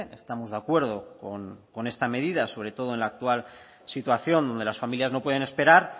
estamos de acuerdo con esta medida sobre todo en la actual situación donde las familias no pueden esperar